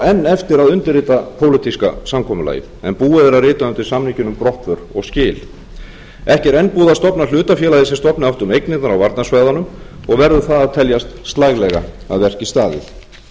enn eftir að undirrita pólitíska samkomulagið en búið er að rita undir samninginn um brottför og skil ekki er enn búið að stofna hlutafélagið sem stofna átti um eignirnar á varnarsvæðunum og verður það að teljast slælega að verki staðið hugmyndin um að stofna